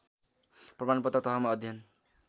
प्रमाणपत्र तहमा अध्ययन